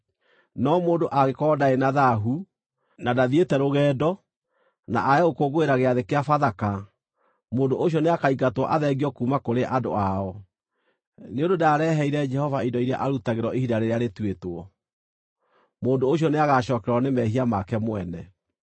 No mũndũ angĩkorwo ndarĩ na thaahu, na ndathiĩte rũgendo, na aage gũkũngũĩra Gĩathĩ-kĩa-Bathaka, mũndũ ũcio nĩakaingatwo athengio kuuma kũrĩ andũ ao, nĩ ũndũ ndaareheire Jehova indo iria arutagĩrwo ihinda rĩrĩa rĩtuĩtwo. Mũndũ ũcio nĩagacookererwo nĩ mehia make mwene.